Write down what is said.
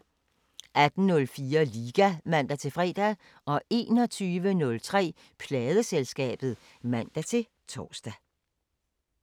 18:04: Liga (man-fre) 21:03: Pladeselskabet (man-tor)